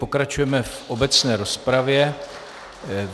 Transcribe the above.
Pokračujeme v obecné rozpravě.